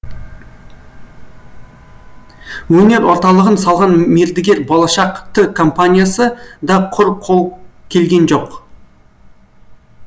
өнер орталығын салған мердігер болашақ т компаниясы да құр қол келген жоқ